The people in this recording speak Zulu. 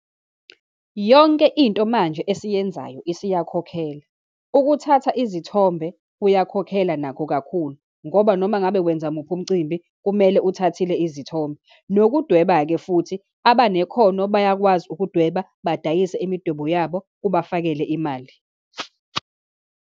Yonke into manje esiyenzayo isiyakhokhela. Ukuthatha izithombe kuyakhokhela nakho kakhulu, ngoba noma ngabe wenza muphi umcimbi kumele uthathile izithombe. Nokudweba-ke futhi, abanekhono bayakwazi ukudweba, badayise imidwebo yabo, kubafakele imali.